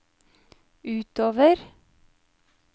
utover